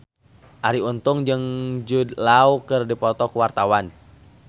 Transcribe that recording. Arie Untung jeung Jude Law keur dipoto ku wartawan